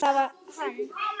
Það var hann!